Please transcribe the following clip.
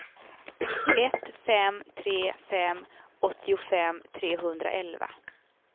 ett fem tre fem åttiofem trehundraelva